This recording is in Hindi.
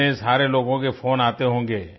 इतने सारे लोगों के फ़ोन आते होंगे